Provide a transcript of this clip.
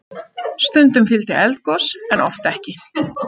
Stundum fylgdi eldgos en oft ekki.